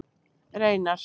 Reynar